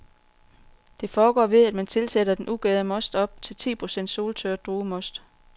Det foregår ved, at man tilsætter den ugærede most op til ti procent soltørret druemost.